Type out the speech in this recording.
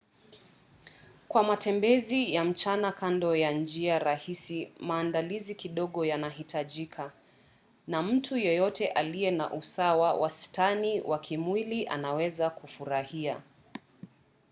kwa matembezi ya mchana kando ya njia rahisi maandalizi kidogo yanahitajika na mtu yeyote aliye na usawa wastani wa kimwili anaweza kufurahia